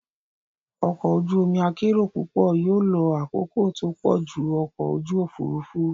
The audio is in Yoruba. Ọkọ̀ ojú omi akérò púpọ̀ yóò lo àkókò tó pọ̀ ju ọkọ̀ ojú òfurufú.